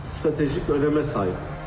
Stratejik önəmə sahib.